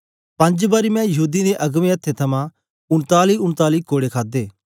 पंज बारी मैं यहूदीयें दे अगबें अथ्थें थमां उनतालीउनताली कोड़े खादे